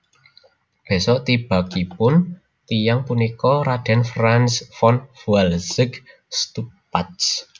Bésok tibakipun tiyang punika Raden Franz von Walsegg Stuppach